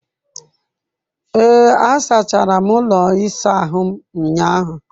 Ee, asachara m ụlọ ịsa ahụ ụnyahụ.